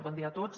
bon dia a tots